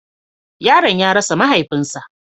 Yaron ya rasa mahaifinsa.